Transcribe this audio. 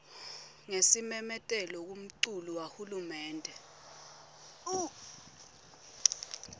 ngesimemetelo kumculu wahulumende